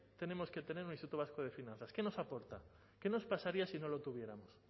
tenemos que tener un instituto vasco de finanzas qué nos aporta qué nos pasaría si no lo tuviéramos